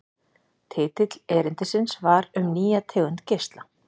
Titill erindisins var Um nýja tegund geisla.